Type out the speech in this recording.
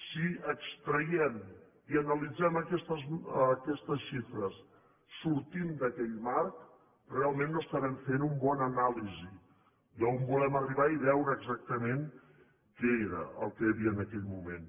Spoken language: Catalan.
si extraiem i analitzem aquestes xifres sortint d’aquell marc realment no estarem fent una bona anàlisi d’on volem arribar i veure exactament què era el que hi havia en aquell moment